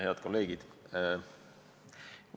Head kolleegid!